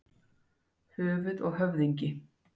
Höfuð og höfðingi.